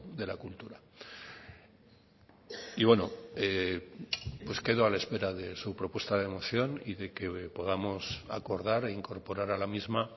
de la cultura y bueno quedo a la espera de su propuesta de moción y de que podamos acordar e incorporar a la misma